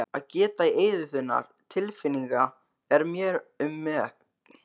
Að geta í eyður þinna tilfinninga er mér um megn.